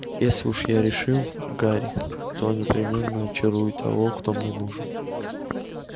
если уж я решил гарри то непременно очарую того кто мне нужен